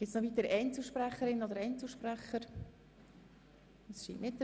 Es gibt keine weiteren Einzelsprecherinnen oder Einzelsprecher mehr.